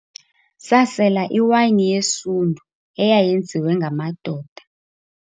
Sasela iwayini yesundu eyayenziwe ngamadoda.